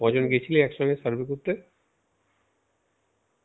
ক জন গেছিলি একসঙ্গে survey করতে?